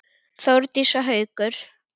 Þórdís og Haukur.